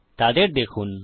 তাদের দেখুন